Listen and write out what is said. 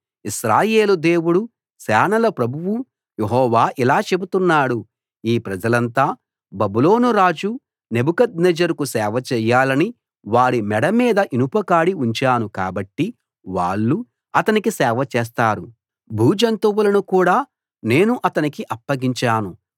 ఇశ్రాయేలు దేవుడు సేనల ప్రభువు యెహోవా ఇలా చెబుతున్నాడు ఈ ప్రజలంతా బబులోను రాజు నెబుకద్నెజరుకు సేవ చేయాలని వారి మెడ మీద ఇనుప కాడి ఉంచాను కాబట్టి వాళ్ళు అతనికి సేవ చేస్తారు భూజంతువులను కూడా నేను అతనికి అప్పగించాను